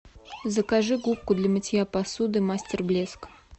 закажи губку для мытья посуды мастер блеск